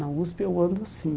Na USP eu ando assim.